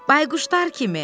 Bayquşlar kimi.